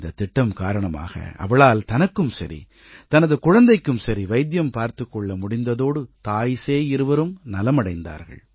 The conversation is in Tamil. இந்தத் திட்டம் காரணமாக அவளால் தனக்கும் சரி தனது குழந்தைக்கும் சரி வைத்தியம் பார்த்துக் கொள்ள முடிந்ததோடு தாய் சேய் இருவரும் நலமடைந்தார்கள்